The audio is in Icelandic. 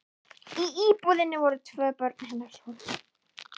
Í íbúðinni voru tvö börn hennar sofandi.